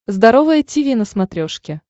здоровое тиви на смотрешке